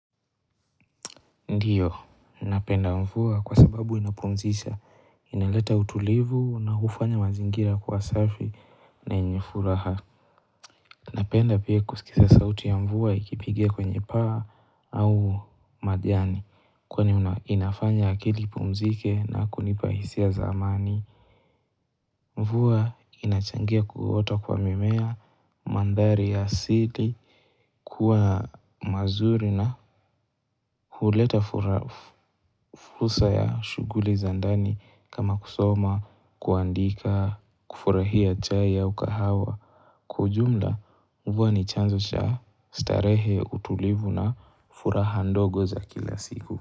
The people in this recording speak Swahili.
Ndiyo napenda mvua kwa sababu inapumzisha inaleta utulivu na hufanya mazingira kuwa safi na yenye furaha napenda pia kusikiza sauti ya mvua ikipigia kwenye paa au majani kwani inafanya akili ipumzike na kunipa hisia za amani mvua inachangia kuota kwa mimea mandhari ya asili kuwa mazuri na huleta fursa ya shughuli za ndani kama kusoma kuandika kufurahia chai au kahawa Kwa ujumla mvua ni chanzo cha starehe utulivu na furaha ndogo za kila siku.